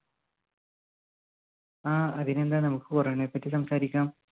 ആ അതിനെന്താ നമ്മുക്ക് corona യെപ്പറ്റി സംസാരിക്കാം.